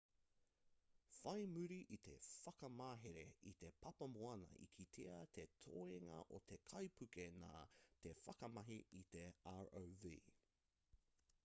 whai muri i te whakamahere i te papamoana i kitea te toenga o te kaipuke nā te whakamahi i te rov